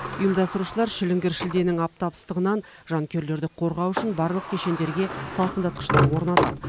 ұйымдастырушылар шіліңгір шілденің аптап ыстығынан жанкүйерлерді қорғау үшін барлық кешендерге салқындатқыштар орнатады